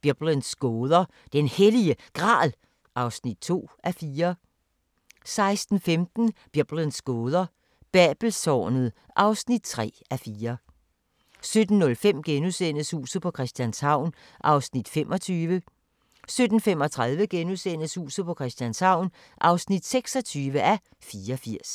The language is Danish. Biblens gåder – Den Hellige Gral (2:4)* 16:15: Biblens gåder – Babelstårnet (3:4) 17:05: Huset på Christianshavn (25:84)* 17:35: Huset på Christianshavn (26:84)*